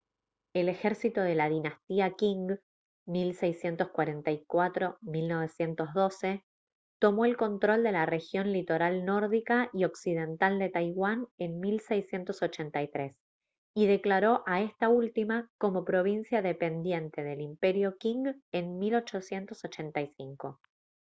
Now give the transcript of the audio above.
el ejército de la dinastía qing 1644-1912 tomó el control de la región litoral nórdica y occidental de taiwán en 1683 y declaró a esta última como provincia dependiente del imperio qing en 1885